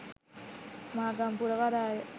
මාගම්පුර වරාය